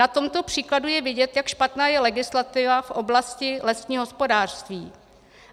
Na tomto příkladu je vidět, jak špatná je legislativa v oblasti lesního hospodářství.